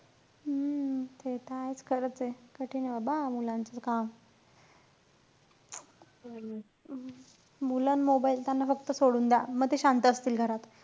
हम्म ते त आहेच खरंचे. कठीण हे बाबा मुलांचं काम. मुलं अन mobile त्यांना फक्त सोडून द्या. म ते शांत असतील घरात.